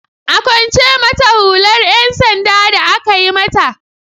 A kwance mata hular 'yan sanda da aka yi mata!